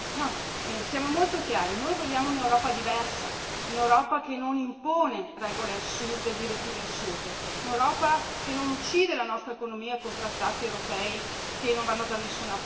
Siamo molto chiari noi vogliamo un'Europa diversa, un'Europa che non impone regole assurde e direttive assurde, un'Europa che non uccide la nostra economia con trattati europei che non vanno da nessuna parte.